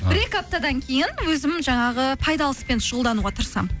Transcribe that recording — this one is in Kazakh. бір екі аптадан кейін өзім жаңағы пайдалы іспен шұғылдануға тырысамын